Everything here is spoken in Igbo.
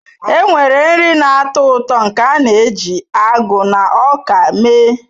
Enwere nri na-atọ ụtọ nke a na-eji agụ na ọka mee.